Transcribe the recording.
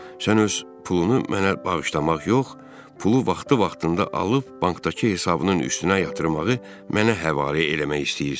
Sən öz pulunu mənə bağışlamaq yox, pulu vaxtı-vaxtında alıb bankdakı hesabının üstünə yatırmağı mənə həvalə eləmək istəyirsən.